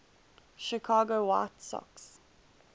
chicago white sox